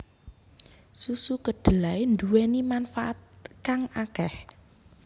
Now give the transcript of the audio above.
Susu kedelai nduweni manfaat kang akeh